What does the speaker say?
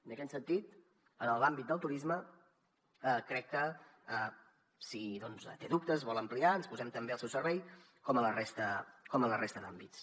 en aquest sentit en l’àmbit del turisme crec que si en té dubtes ho vol ampliar ens posem també al seu servei com en la resta d’àmbits